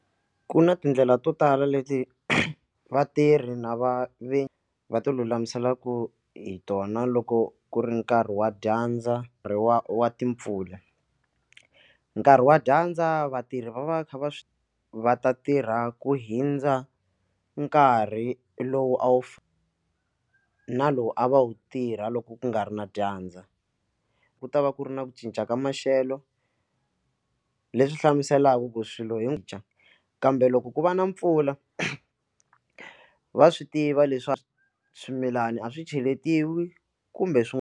Ku na tindlela to tala leti vatirhi na va va va ti lulamiselaku hi tona loko ku ri nkarhi wa dyandza ri wa wa timpfula nkarhi wa dyandza vatirhi va va kha va va ta tirha ku hindza nkarhi lowu a wu na lowu a va wu tirha loko ku nga ri na dyandza ku ta va ku ri na ku cinca ka maxelo leswi hlamuselaka ku swilo hi dya kambe loko ku va na mpfula va swi tiva leswaku swimilani a swi cheletiwa kumbe swin'wana.